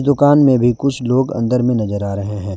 दुकान में भी कुछ लोग अंदर में नजर आ रहे हैं।